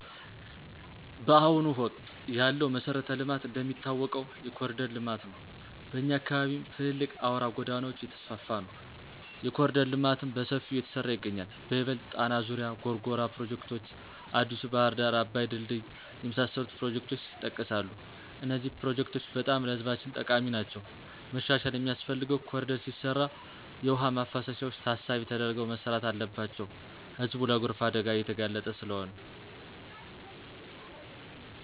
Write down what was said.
ባሁኑ ወቅት ያለው መሠረተ ልማት እንደሚታወቀው የኮሪደር ለማት ነው። በኛ አካባቢም ትልልቅ አውራ ጎዳናወች እየተስፍፋ ነው። የኮሪደር ልማትም በሠፊው እየተሠራ ይገኛል በይበልጥ ጣና ዙሪያ፣ ጎርጎራ ፕሮጀክቶች፣ አዲሡ ባህር ዳር አባይ ድልድይ የመሣሠሉት ፕሮጀክቶች የጠቀሣሉ። እነዚህ ፕሮጀክቶች በጣም ለህዝባችን ጠቃሚ ናቸዉ። መሻሻል ሚያስፈልገው ኮሪደር ሲሰራ የውሃ ማፋሰሻዎች ታሣቢ ተደርገው መሠራት አለባቸው ህዝቡ ለጎርፍ አደጋ እየተጋለጠ ስለሆነ።